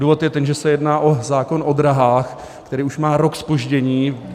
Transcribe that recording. Důvod je ten, že se jedná o zákon o dráhách, který už má rok zpoždění.